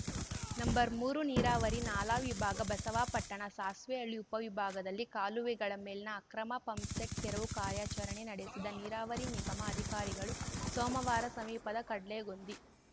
number ಮೂರು ನೀರಾವರಿ ನಾಲಾ ವಿಭಾಗ ಬಸವಾಪಟ್ಟಣ ಸಾಸ್ವೆಹಳ್ಳಿ ಉಪವಿಭಾಗದಲ್ಲಿ ಕಾಲುವೆಗಳ ಮೇಲಿನ ಅಕ್ರಮ ಪಂಪ್‌ಸೆಟ್‌ ತೆರವು ಕಾರ್ಯಾಚರಣೆ ನಡೆಸಿದ ನೀರಾವರಿ ನಿಗಮ ಅಧಿಕಾರಿಗಳು ಸೋಮವಾರ ಸಮೀಪದ ಕಡ್ಳೆಗೊಂದಿ